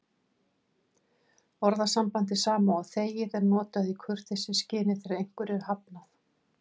Orðasambandið sama og þegið er notað í kurteisisskyni þegar einhverju er hafnað.